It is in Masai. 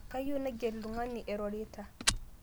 Kayieu naiger ltung'ana erorita